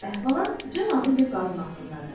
İlk əhvalat Cin adlı bir qadın haqqındadır.